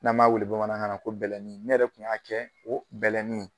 N'an b'a wele bamanankan na ko bɛlɛnin .Ne yɛrɛ kun y'a kɛ o bɛlɛnin ye.